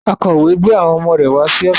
Akọ̀wé gbé àwọn ọmọ rẹ̀ wá sí ọ́fíìsì